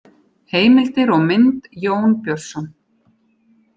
Heimildir og mynd: Jón Björnsson.